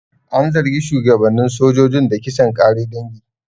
An zargi shugabannin sojojin da kisan ƙare dangi.